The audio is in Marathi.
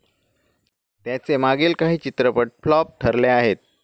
त्याचे मागील काही चित्रपट फ्लॉप ठरले आहेत.